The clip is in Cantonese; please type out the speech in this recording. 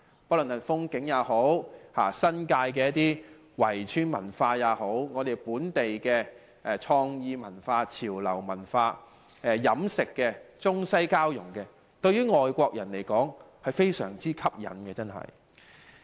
不論是風景也好，新界圍村文化也好，本地的創意文化、潮流文化、飲食的中西交融也好，對外國人來說均非常吸引。